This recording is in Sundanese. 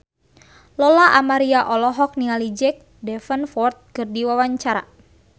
Lola Amaria olohok ningali Jack Davenport keur diwawancara